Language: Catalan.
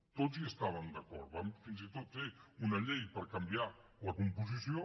tots hi estàvem d’acord vam fins i tot fer una llei per canviar ne la composició